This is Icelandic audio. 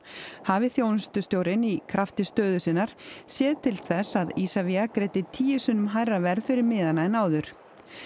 hafi þjónustustjórinn í krafti stöðu sinnar séð til þess að Isavia greiddi tíu sinnum hærra verð fyrir miðana en áður